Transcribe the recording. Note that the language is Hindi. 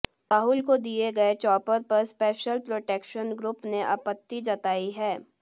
राहुल को दिए गए चॉपर पर स्पेशल प्रोटेक्शन ग्रुप ने आपत्ति जताई है